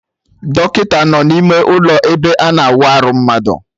Dọkịta anọ no n'ime ụlọ ebe ana awa arụ mmadụ